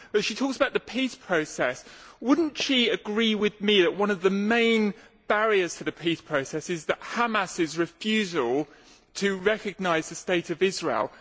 But when she talks about the peace process, would she not agree with me that one of the main barriers to the peace process is Hamas's refusal to recognise the state of Israel?